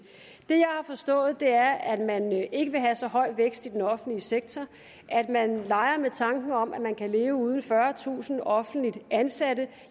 jeg har forstået er at man ikke vil have så høj vækst i den offentlige sektor at man leger med tanken om at man kan leve uden fyrretusind offentligt ansatte